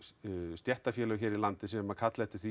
stéttarfélög hér í landi sem kalla eftir því